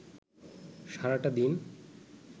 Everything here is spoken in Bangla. সারাটা দিন